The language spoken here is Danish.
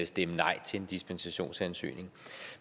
stemme nej til en dispensationsansøgning